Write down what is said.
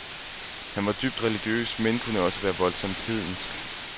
Han var dybt religiøs, men kunne også være voldsomt hedensk.